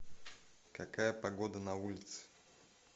какая погода на улице